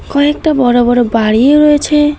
কয়েকটা বড় বড় বাড়িও রয়েছে।